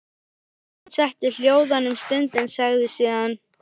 Guðmund setti hljóðan um stund en sagði síðan: